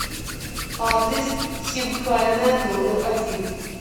адрес хинкальная номер один